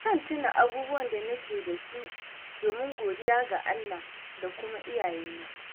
Zan tuna abubuwan da nake da su, domin godiya ga Allah da kuma iyayena.